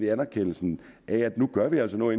anerkendelsen af at nu gør vi altså noget